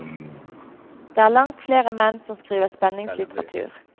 Det er langt flere menn som skriver spenningslitteratur.